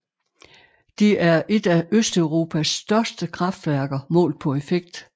Det er et af Østeuropas største kraftværker målt på effekt